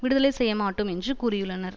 விடுதலை செய்ய மாட்டோம் என்று கூறியுள்ளனர்